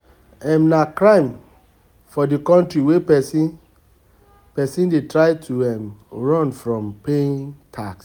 um Na crime for di country when person person dey try to um run from paying tax